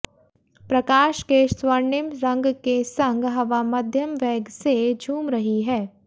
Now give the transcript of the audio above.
प्रकाश के स्वर्णिम रंग के संग हवा मध्यम वेग से झूम रही है